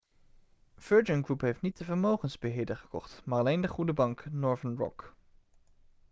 virgin group heeft niet de vermogensbeheerder gekocht maar alleen de goede bank' northern rock